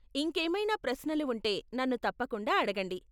ఇంకేమైనా ప్రశ్నలు ఉంటే నన్ను తప్పకుండా అడగండి.